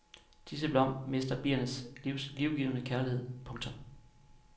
Disse blomster mister biernes livgivende kærlighed. punktum